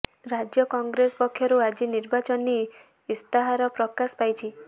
ରାଜ୍ୟ କଂଗ୍ରେସ ପକ୍ଷରୁ ଆଜି ନିର୍ବାଚନୀ ଇସ୍ତାହାର ପ୍ରକାଶ ପାଇଛି